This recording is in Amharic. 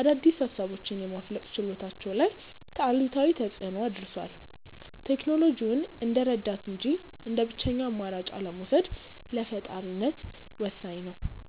አዳዲስ ሃሳቦችን የማፍለቅ ችሎታቸው ላይ አሉታዊ ተፅእኖ አድርሷል። ቴክኖሎጂውን እንደ ረዳት እንጂ እንደ ብቸኛ አማራጭ አለመውሰድ ለፈጣሪነት ወሳኝ ነው።